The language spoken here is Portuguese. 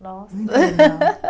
Nossa.